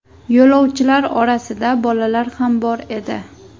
Yo‘lovchilar orasida bolalar ham bor edi.